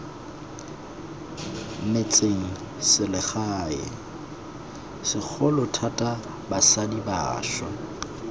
metsengselegae segolo thata basadi bašwa